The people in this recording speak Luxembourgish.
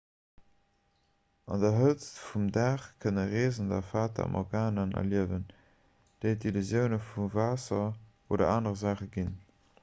an der hëtzt vum dag kënne reesender fata morganaen erliewen déi d'illusioun vu waasser oder anere saache ginn